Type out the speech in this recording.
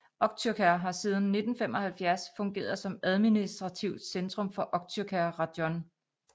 Okhtyrka har siden 1975 fungeret som administrativt centrum for Okhtyrka rajon